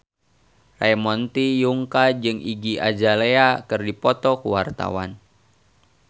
Ramon T. Yungka jeung Iggy Azalea keur dipoto ku wartawan